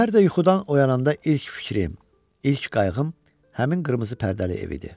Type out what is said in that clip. Səhər də yuxudan oyananda ilk fikrim, ilk qayğım həmin qırmızı pərdəli ev idi.